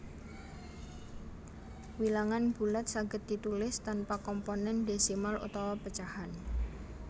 Wilangan bulat saged ditulis tanpa komponén désimal utawa pecahan